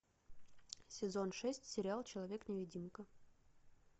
сезон шесть сериал человек невидимка